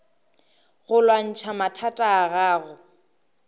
go lwantšha mathata a gago